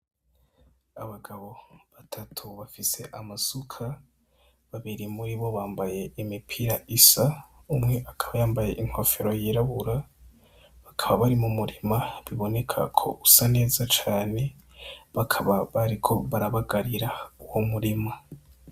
Abagabo batatu bafise amasuka, babiri muri bo bambaye imipira isa, umwe akaba yambaye inkofero yirabura. Bakaba bari mu murima, biboneka ko usa neza cane. Bakaba bariko barabagarira uwo murima.